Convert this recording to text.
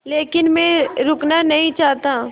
लेकिन मैं रुकना नहीं चाहता